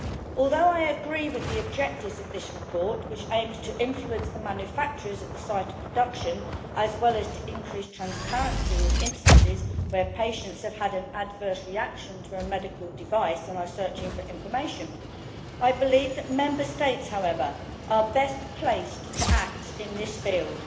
Although I agree with the objectives of this report, which aims to influence the manufacturers at the site of production, as well as to increase transparency in instances where patients have had an adverse reaction to a medical device and are searching for information, I believe, however, that Member States are best placed to act in this field.